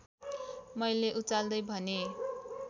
मैले उचाल्दै भनेँ